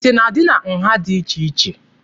Ite na-adị na nha dị iche iche.